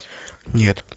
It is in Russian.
нет